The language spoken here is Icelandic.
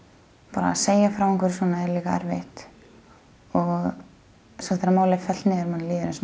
bara að segja frá svona er erfitt og svo þegar málið er fellt niður manni líður eins